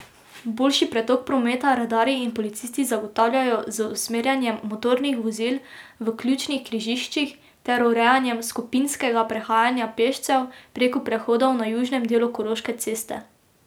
Boljši pretok prometa redarji in policisti zagotavljajo z usmerjanjem motornih vozil v ključnih križiščih ter urejanjem skupinskega prehajanja pešcev preko prehodov na južnem delu Koroške ceste.